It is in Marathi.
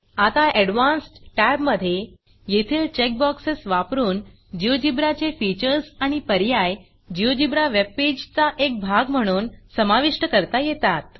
आता एडवान्स्ड Tabअडवांसड टॅब मध्ये येथील चेक बॉक्सेस वापरून GeoGebraजियोजीब्रा चे फीचर्स आणि पर्याय जिओजेब्रा जियोजीब्रावेब पेजचा एक भाग म्हणून समाविष्ट करता येतात